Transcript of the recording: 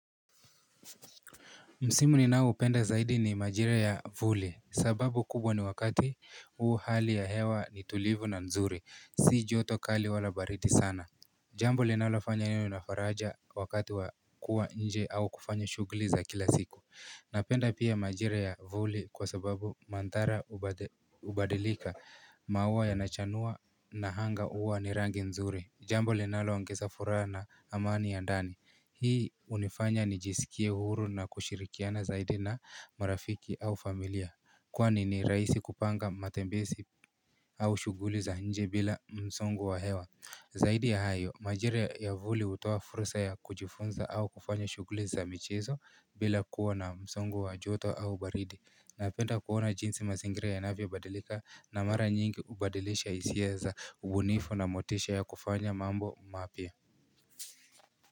Msimu ninaoupenda zaidi ni majira ya vuli, sababu kubwa ni wakati huu hali ya hewa ni tulivu na nzuri, si joto kali wala baridi sana Jambo linalofanya iwe na faraja wakati wa kuwa nje au kufanya shughuli za kila siku Napenda pia majira ya vuli kwa sababu mandhari hubadilika maua yanachanua na anga huwa ni rangi nzuri Jambo linaloongeza furaha na amani ya ndani Hii unifanya nijisikie huru na kushirikiana zaidi na marafiki au familia Kwani ni rahisi kupanga matembezi au shughuli za nje bila msongo wa hewa Zaidi ya hayo, majira ya vuli hutoa fursa ya kujifunza au kufanya shughuli za michzo bila kuwa na msongo wa joto au baridi Napenda kuona jinsi mazingiri yanavyobadilika na mara nyingi hubadilisha hisia za ubunifu na motisha ya kufanya mambo mapya.